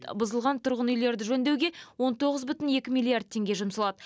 бұзылған тұрғын үйлерді жөндеуге он тоғыз бүтін екі миллиард теңге жұмсалады